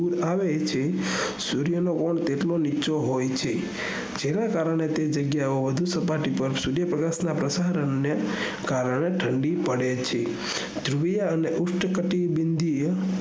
આવે છે સૂર્ય નો volt એટલો નીચીહોય છે જેના કારણે તે જગ્યા ઓ વધુ સપાટી પર સૂર્ય પ્રકાશ ના પ્રસારણ ને કારણે ઠંડી પડે છે ધ્રુવીય અને ઉષ્ટ કટિયા બંધીયા